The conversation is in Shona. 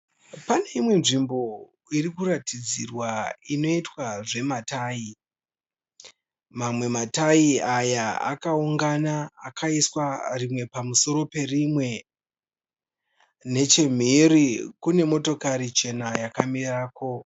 Pane imwe nzvimbo irikuratidzirwa inoitwa zvematayi. Mamwe matayi aya akaungana akaiswa rimwe pamusoro perimwe. Nechemhiri kune motokari chena yakamirako.